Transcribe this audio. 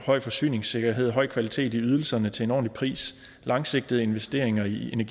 høj forsyningssikkerhed høj kvalitet i ydelserne til en ordentlig pris langsigtede investeringer i